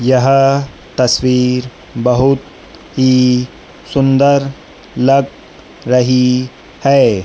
यह तस्वीर बहुत ही सुंदर लग रही है।